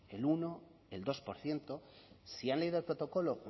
el uno el dos por ciento si han leído el protocolo